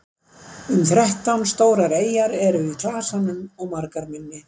um þrettán stórar eyjar eru í klasanum og margar minni